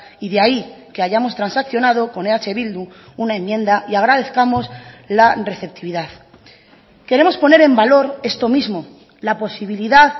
y de ahí que hayamos transaccionado con eh bildu una enmienda y agradezcamos la receptividad queremos poner en valor esto mismo la posibilidad